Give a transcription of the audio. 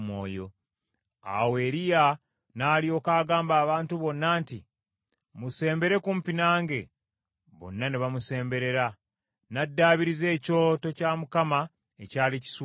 Awo Eriya n’alyoka agamba abantu bonna nti, “Musembere kumpi nange.” Bonna ne bamusemberera, n’addaabiriza ekyoto kya Mukama ekyali kisuuliddwa.